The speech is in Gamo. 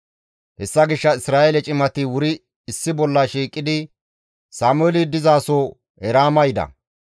Hessa gishshas Isra7eele cimati wuri issi bolla shiiqidi Sameeli dizaso Eraama yida.